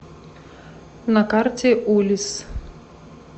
на карте улисс